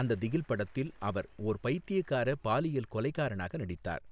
அந்த திகில் படத்தில் அவர் ஓர் பைத்தியகாரப் பாலியல் கொலைகாரனாக நடித்தார்.